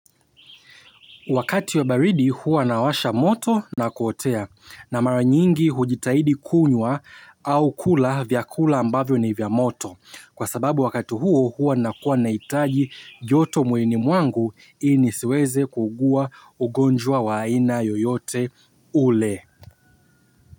Wakati wa baridi huwa nawasha moto na kuotea na maranyingi hujitahidi kunywa au kula vyakula ambavyo ni vya moto. Kwa sababu wakati huo huwa nakuwa nahitaji joto mwilini mwangu ili nisiweze kuugua ugonjwa wa aina yoyote ule.